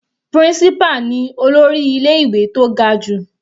Principal ni olórí ilé ìwé tó ga jù.